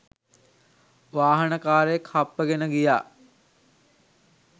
වාහනකාරයෙක් හප්පගෙන ගියා.